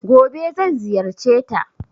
Gobe zan ziyarceta.